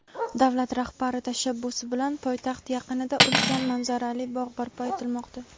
Davlat rahbari tashabbusi bilan poytaxt yaqinida ulkan manzarali bog‘ barpo etilmoqda.